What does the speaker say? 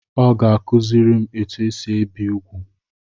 Ọ ga-akuziri m etu esi ebi úgwù.